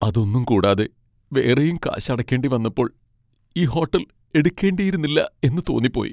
അതൊന്നും കൂടാതെ വേറെയും കാശ് അടക്കേണ്ടി വന്നപ്പോൾ ഈ ഹോട്ടൽ എടുക്കേണ്ടിയിരുന്നില്ലാ എന്ന് തോന്നിപ്പോയി.